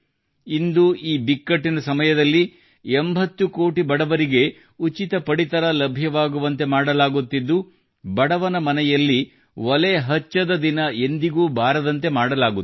ಇಂದು ಈ ಬಿಕ್ಕಟ್ಟಿನ ಸಮಯದಲ್ಲಿ 80 ಕೋಟಿ ಬಡವರಿಗೆ ಉಚಿತ ಪಡಿತರ ಲಭ್ಯವಾಗುವಂತೆ ಮಾಡಲಾಗುತ್ತಿದ್ದು ಬಡವನ ಮನೆಯಲ್ಲಿ ಒಲೆ ಹಚ್ಚದ ದಿನ ಎಂದಿಗೂ ಬಾರದಂತೆ ಮಾಡಲಾಗುತ್ತಿದೆ